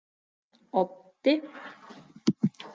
Oddi